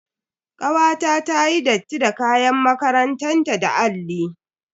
Kawata tayi datti da kayan makarantan ta da alli.